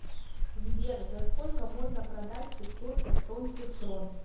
сбер за сколько можно продать пятьсот эстонских крон